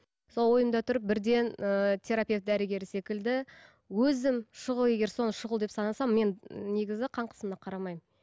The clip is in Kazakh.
сол ойымда тұр бірден ііі терапевт дәрігері секілді өзім шұғыл егер соны шұғыл деп санасам мен негізі қан қысымына қарамаймын